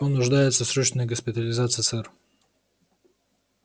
он нуждается в срочной госпитализации сэр